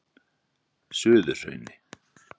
Suðurhrauni